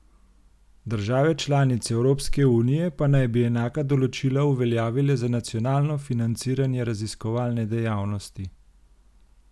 Države članice Evropske unije pa naj bi enaka določila uveljavile za nacionalno financiranje raziskovalne dejavnosti.